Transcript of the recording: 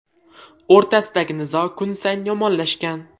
o‘rtasidagi nizo kun sayin yomonlashgan.